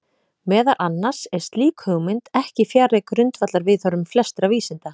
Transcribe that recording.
Meðal annars er slík hugmynd ekki fjarri grundvallarviðhorfum flestra vísinda.